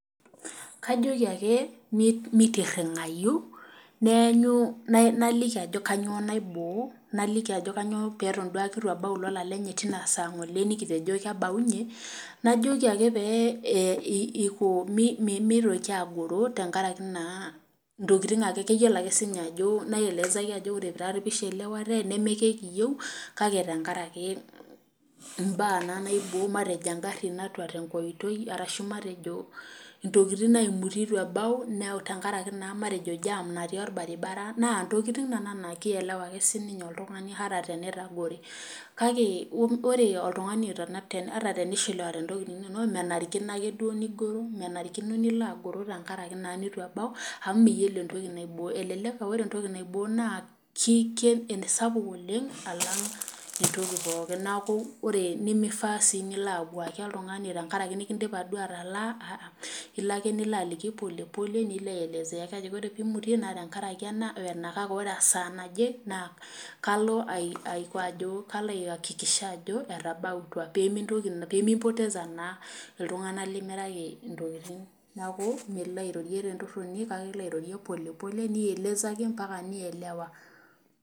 Kajoki ae meitiringayu ,naliki ajo kainyoo naibor, naliki ajo kainyoo duake pee eitu ebau ilolan lenyenak tinasa ngole nikitejo kebaunye, najoki ake pee meitoki agoro tenkaraki ntokiting ake, keyiolo siininye ajo ,ore ake pee aelezaki ore pee eishiliawate nemeekiyieu kake tenakaraki mbaa naibo matejo naaji engari natura tenkoitoi orashu ntokiting naimitie eitu ebau tenakaraki naa JAM[ca] natii orbaribara naa ntokiting nena naa kielewa ake siininye oltungani ata tenetagore kake ore ata tenishiliwate ntokiting inonok ,menarikino nilo agoro tenkaraki naa neitu ebau amu niyiolo entoki naibo, elelek aa ore entoki naibo naa keisapuk oleng alang entoki pookin nemifaa sii nilo abwaaki oltungani tenakaraki duo nikindima ataalaa, ilo ake nilo aliki polepole nilo aelezea kake tenimutie tenakaraki ena we ena kake ore tesaa naje kalo aiakikisha ajo etabautwa pee mipoteza naa iltunganak limiraki ntokiting. neeku milo airorie tentoroti kake ilo airorie polepole mpaka nielewa.